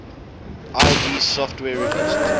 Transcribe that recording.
id software released